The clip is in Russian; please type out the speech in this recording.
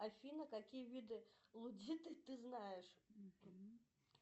афина какие виды лудита ты знаешь